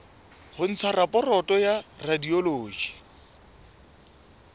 ho ntsha raporoto ya radiology